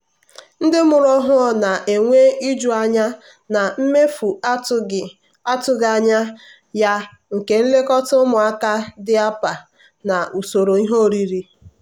ndị mụrụ ọhụ na-enwe iju anya na mefu atụghị atụghị anya ya nke nlekọta ụmụaka diapa na usoro ihe oriri.